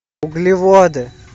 углеводы